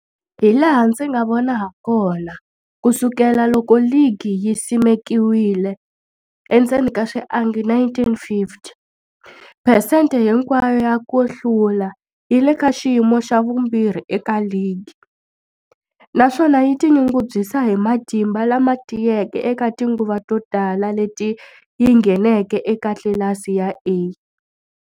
Hilaha ndzi nga vona hakona, ku sukela loko ligi yi simekiwile, endzeni ka swiangi 1950, phesente hinkwayo ya ku hlula yi le ka xiyimo xa vumbirhi eka ligi, naswona yi tinyungubyisa hi matimba lama tiyeke eka tinguva to tala leti yi ngheneke eka tlilasi ya A.